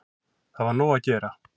Það var nóg að gera